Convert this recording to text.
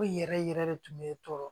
Ko in yɛrɛ yɛrɛ de tun bɛ tɔɔrɔ